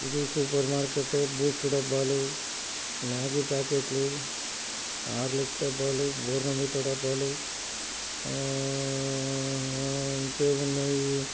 super మార్కెటే Boost డబ్బాలు Maggi ప్యాకెట్లు హార్లిక్స్ డబ్బాలు బోర్నవిటా డబ్బాలు ఆ-ఆ-ఆ-ఆ ఇంకేమున్నాయి--